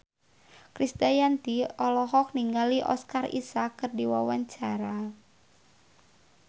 Krisdayanti olohok ningali Oscar Isaac keur diwawancara